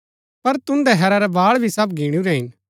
पर तुन्दै हैरा रै बाळ भी सब गीणुरै हिन